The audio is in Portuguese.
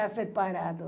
É separado.